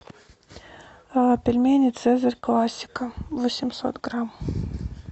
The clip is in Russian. пельмени цезарь классика восемьсот грамм